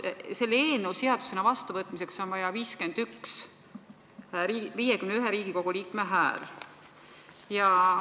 Selle eelnõu seadusena vastuvõtmiseks on vaja 51 Riigikogu liikme häält.